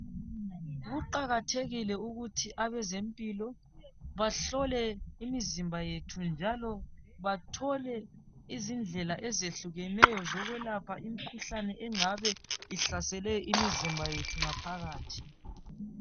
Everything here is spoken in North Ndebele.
Kuqakathekile ukuthi abezempilo bahlole imizamba yethu njalo bathole izindlela ezehlukeneyo engabe ihlasele imizimba yethu ngaphakathi